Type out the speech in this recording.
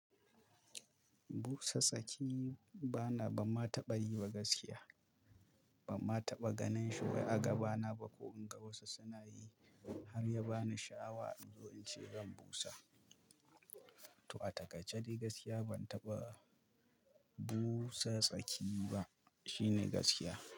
Busa tsaki bana, ban ma taɓa yi ba gaskiya. Ban ma taɓa ganin shi wai a gaba na ba ko in ga wasu suna yi har ya ba ni sha'awa in ce zan busa. To a taƙaice de gaskiya ban taɓa busa tsaki ba, shine gaskiya.